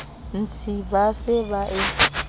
ntsi ba se ba e